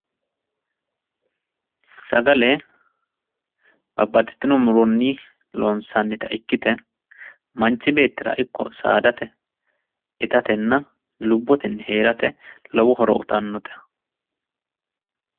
Sagale babbaxittinno muronni loonsanitta ikkitte manchi beettira ikko saadatte ittatenna lubbotenni heeratte lowo horo uyitanotte.